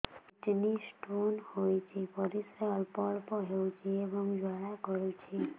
kidney stone ହୋଇଛି ପରିସ୍ରା ଅଳ୍ପ ଅଳ୍ପ ହେଉଛି ଏବଂ ଜ୍ୱାଳା କରୁଛି